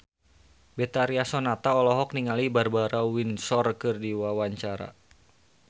Betharia Sonata olohok ningali Barbara Windsor keur diwawancara